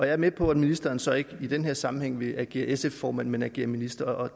er med på at ministeren så ikke i den her sammenhæng vil agere sf formand men agere minister og